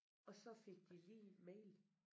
Og så fik de lige mail